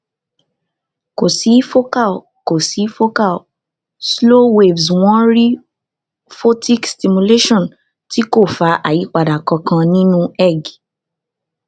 ko si focal ko si focal slow waves won ri photic stimulation ti ko fa ayipada kankan ninu eeg